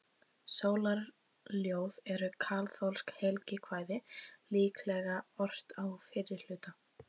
Sólarljóð eru kaþólskt helgikvæði, líklega ort á fyrra hluta